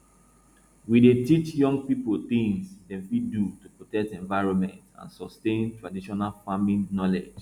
we dey teach young people things dem fit do to protect environment and sustain traditional farming knowledge